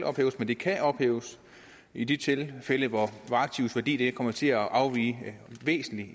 ophæves men de kan ophæves i de tilfælde hvor aktivets værdi kommer til at afvige væsentligt